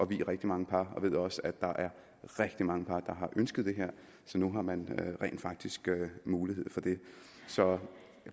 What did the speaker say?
vie rigtig mange par og jeg ved også at der er rigtig mange par der har ønsket det her så nu har man rent faktisk mulighed for det så